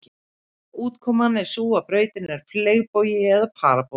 Útkoman er sú að brautin er fleygbogi eða parabóla.